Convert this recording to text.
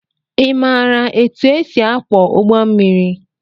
Imara etụ esị akwo ụgbọ mmiri?